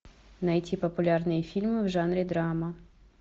найти популярные фильмы в жанре драма